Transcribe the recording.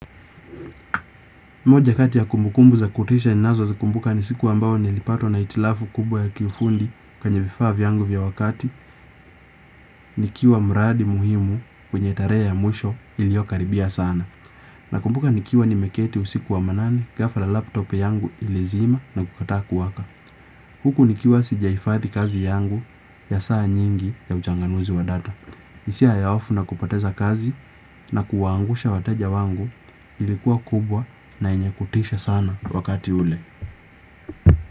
Moja kati ya kumbukumbu za kutisha ninazo zikumbuka ni siku ambayo nilipatwa na itilafu kubwa ya kiufundi kwenye vifaa vyangu vya wakati, nikiwa mradi muhimu kwenye tarehe ya mwisho iliokaribia sana. Na kumbuka nikiwa nimeketi usiku wa manane, ghafla laptop yangu ilizima na kukataa kuwaka. Huku nikiwa sijaifadhi kazi yangu ya saa nyingi ya ujanganuzi wa data. Hisia ya hofu na kupoteza kazi na kuwangusha wateja wangu ilikuwa kubwa na yenye kutisha sana wakati ule.